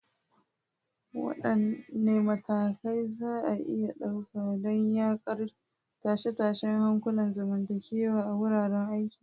Wadanne matakai za a iya ɗauka don yaƙar tashe-tashen hankulan zamantakewa a wuraren aiki?